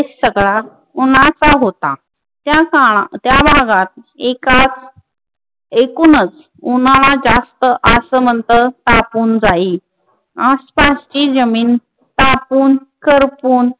उन्हाचा होता. त्या काळात, त्या भागात एकात एकूणच उन्हाळा जास्त आस म्हंत तापून जाईल. आस्ताची जमीन तापून, करपून,